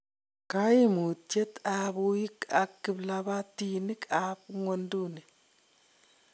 Koimutiet ab uuiek ak kiplabtinik ab nywonduni.